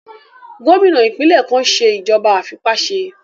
Gómìnà ìpínlẹ̀ kan n ṣe ìjọba àìfipáṣe